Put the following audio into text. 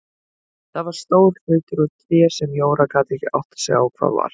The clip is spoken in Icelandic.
Það var stór hlutur úr tré sem Jóra gat ekki áttað sig á hvað var.